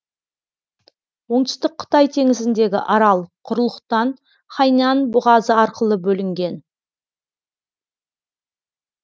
оңтүстік қытай теңізіндегі арал құрлықтан хайнань бұғазы арқылы бөлінген